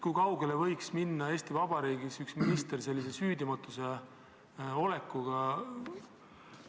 Kui kaugele võiks minna Eesti Vabariigis üks minister sellise süüdimatu olekuga?